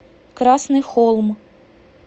красный холм